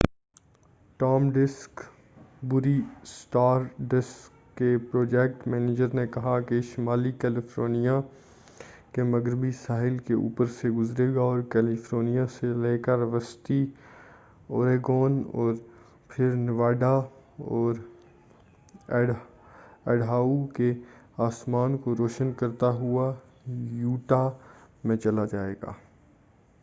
Tom Duxbury Stardust کے project manager نے کہا یہ شمالی کیلیفورنیا کے مغربی ساحل کے اوپر سے گزرے گا اور کیلیفورنیا سے لے کر وسطی اوریگون اور پھر نیواڈا اور ایڈاہو کے آسمان کو روشن کرتا ہوا یوٹاہ میں چلا جائے گا